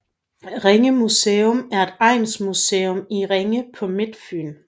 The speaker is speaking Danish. Ringe Museum er et egnsmuseum i Ringe på Midtfyn